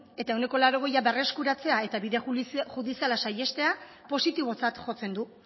eta ehuneko laurogeia berreskuratzea eta bide judiziala saihestea positibotzat jotzen du